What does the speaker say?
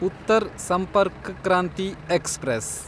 Uttar Sampark Kranti express